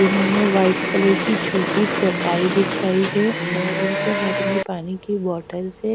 इन्होंने white colour की छोटी चटाई बिछाई है और इनके हाथ में पानी की बॉटल्स है।